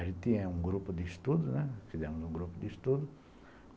A gente tinha um grupo de estudo, né, fizemos um grupo de estudo.